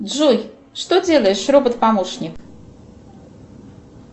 джой что делаешь робот помощник